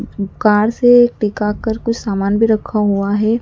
Car से टिकाकर कुछ समान भी रखा हुआ है।